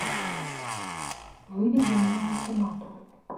выведи мне ультиматум